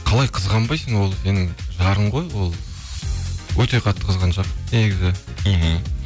қалай қызғанбайсың ол сенің жарың ғой ол өте қатты қызғаншақпын негізі мхм